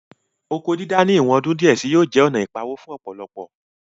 Oko dídá ní ìwọ̀n ọdún díẹ̀ sí yóò jẹ́ ònà ìpawó fún ọ̀pọ̀lọpọ̀